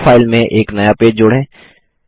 draw file में एक नया पेज जोड़ें